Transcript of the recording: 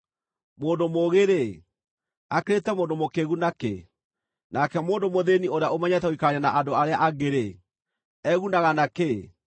Mũndũ mũũgĩ-rĩ, akĩrĩte mũndũ mũkĩĩgu na kĩ? Nake mũndũ mũthĩĩni ũrĩa ũmenyete gũikarania na andũ arĩa angĩ-rĩ, egunaga na kĩ?